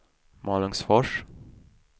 Malungsfors